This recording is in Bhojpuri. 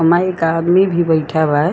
अमा एक आदमी भी बइठा हुआ है।